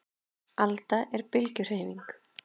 Alda er bylgjuhreyfing.